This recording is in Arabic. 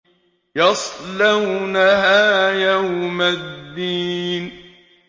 يَصْلَوْنَهَا يَوْمَ الدِّينِ